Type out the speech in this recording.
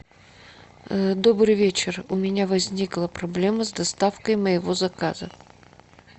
добрый вечер у меня возникла проблема с доставкой моего заказа